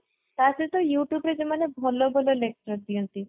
ତାସହିତ youtube ରେ ଯେଉଁ ମାନେ ଭଲ ଭଲ lecture ଦିଅନ୍ତି